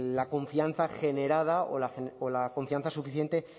la confianza generada o la confianza suficiente